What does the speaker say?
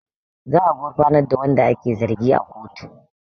Za a gufarnar da wanda ake zargi a kotu